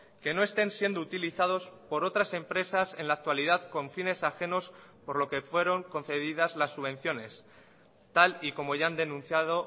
que no estén siendo utilizados por otras empresas en la actualidad con fines ajenos por lo que fueron concedidas las subvenciones tal y como ya han denunciado